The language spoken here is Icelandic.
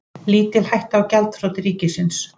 Lítil hætta á gjaldþroti ríkisins